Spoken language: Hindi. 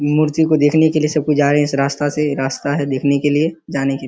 मूर्ति को देखने के लिए सब कोई जा रहें हैं। इस रास्ता से रास्ता है देखने के लिए जाने के --